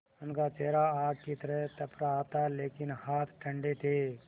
उनका चेहरा आग की तरह तप रहा था लेकिन हाथ ठंडे थे